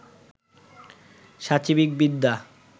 সাচিবিক বিদ্যা